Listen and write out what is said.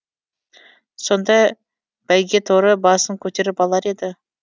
сонда бәйгеторы басын көтеріп алар еді